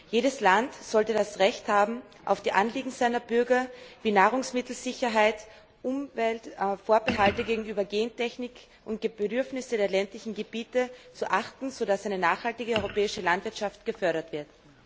Jedes Land sollte das Recht haben, auf die Anliegen seiner Bürger, wie Nahrungsmittelsicherheit, Umwelt, Vorbehalte gegenüber Gentechnik, und die Bedürfnisse der ländlichen Gebiete zu achten, sodass eine nachhaltige europäische Landwirtschaft gefördert wird.